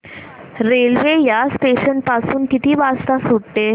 railway या station पासून किती वाजता सुटते